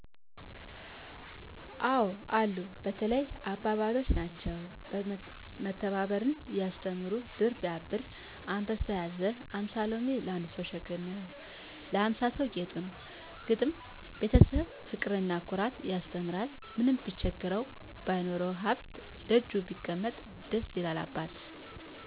አዎ አሉ። በተለይ አባባሎች ናቸው። መተባበርን የሚያስተምሩ ድር ቢያብር አንበሣ ያስር። ሀምሣ ሎሚ ለአንድ ሠው ሸክም ነው ለሀምሣ ሠው ጌጡ ነው። ግጥም፦ የቤተሠብ ፍቅርና ኩራት ያስተምራል። ምንም ቢቸግረው ባይኖረውም ሀብት፤ ከደጃፍ ሲቀመጥ ደስ ይላል አባት።